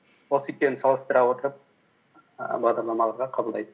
осы екеуін салыстыра отырып ііі бағдарламаларға қабылдайды